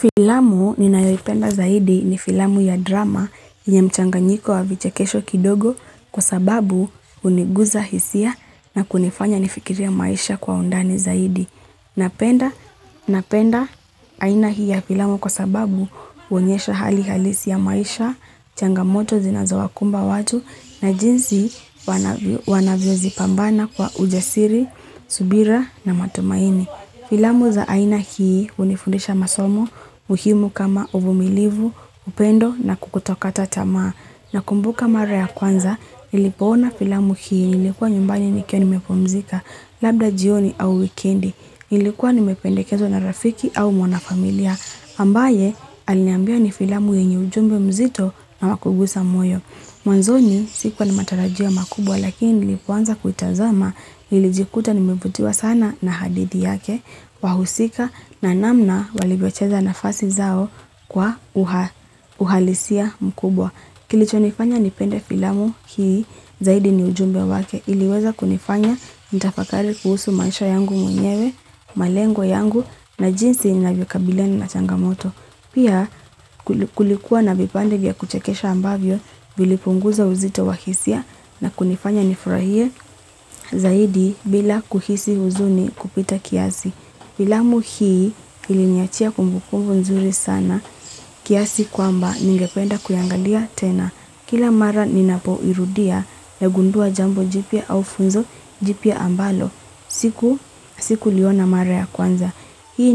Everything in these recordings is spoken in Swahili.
Filamu ninayolipenda zaidi ni filamu ya drama ya mchanganyiko wa vichekesho kidogo kwa sababu uniguza hisia na kunifanya nifikiria maisha kwa undani zaidi. Napenda aina hii ya filamu kwa sababu huonyesha hali halisi ya maisha, changamoto zinazo wakumba watu na jinsi wanavyo zipambana kwa ujasiri, subira na matumaini. Filamu za aina hii unifundisha masomo, muhimu kama umilivu, upendo na kutokata tamaa. Nakumbuka mara ya kwanza, nilipoona filamu hii nilikuwa nyumbani nikiwa nimepumzika, labda jioni au wikendi. Nilikuwa nimependkenzwa na rafiki au mwana familia, ambaye aliniambia ni filamu yenye ujumbe mzito na wakugusa moyo. Mwanzoni sikuwa ni matarajio makubwa lakini nilipoanza kuitazama nilijikuta nimevutiwa sana na hadithi yake wahusika na namna walivyocheza nafasi zao kwa uhalisia mkubwa. Kilicho nifanya nipende filamu hii zaidi ni ujumbe wake iliweza kunifanya nitafakari kuhusu maisha yangu mwenyewe, malengwa yangu na jinsi ninavyonkabiliana na changamoto. Pia kulikuwa na vipande vya kuchekesha ambavyo vilipunguza uzito wahisia na kunifanya nifurahie zaidi bila kuhisi uzuni kupita kiasi. Filamu hii iliniachia kumbukumbu nzuri sana kiasi kwamba ningependa kuiangalia tena. Kila mara ninapo irudia nagundua jambo jipya au funzo jipya ambalo sikuliona mara ya kwanza. Hii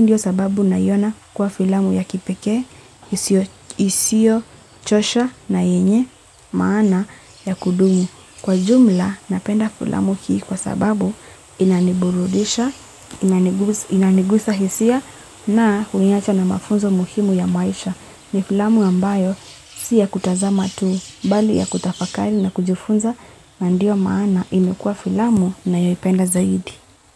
ndio sababu naiona kuwa filamu ya kipeke, isiyo, chosha na yenye maana ya kudumu. Kwa jumla, napenda filamu hii kwa sababu inaniburudisha, inanigusa hisia na huniacha na mafunzo muhimu ya maisha. Ni filamu ambayo siya kutazama tuu, bali ya kutafakali na kujufunza na ndio maana inu kwa filamu ninayoyipenda zaidi.